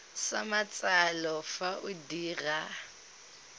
sa matsalo fa o dira